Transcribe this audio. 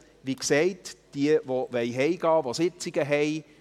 Wie gesagt: Wer nach Hause gehen möchte, wer Sitzungen hat: